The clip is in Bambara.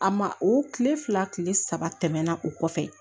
A ma o tile fila tile saba tɛmɛna o kɔfɛ